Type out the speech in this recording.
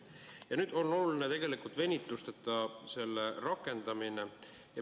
Ja nüüd on oluline tegelikult selle venitusteta rakendamine.